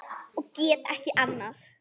Og get ekki annað.